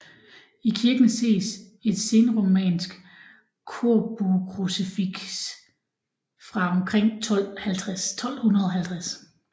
I kirken ses et senromansk korbuekrucifiks fra omkring 1250